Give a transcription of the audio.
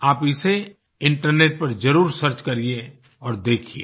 आप इसे इन्टरनेट पर जरूर सर्च करिए और देखिये